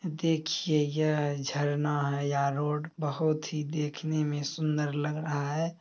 देखिए यह झरना है या रोड बहुत ही देखने में सुंदर लग रहा है।